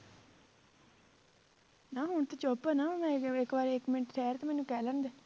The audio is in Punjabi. ਨਾ ਹੁਣ ਤਾਂ ਚੁੱਪ ਨਾ ਇੱਕ ਵਾਰੀ ਇੱਕ ਮਿੰਟ ਠਹਿਰ ਤੇ ਮੈਨੂੰ ਕਹਿ ਲੈਣਦੇ